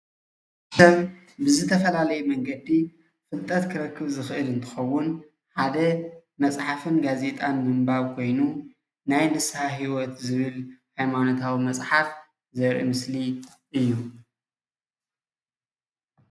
ከም ብዝተፈላለየ መንገዲ ፍልጠት ክረክብ ዝኽእል እንትኸውን ሓደ መፅሓፍን ጋዜጣን ብምንባብ ኮይኑ ናይ ንስሃ ሂወት ዝብል ናይ ሃይማኖታዊ መፅሓፍ ዘርኢ ምስሊ እዩ፡፡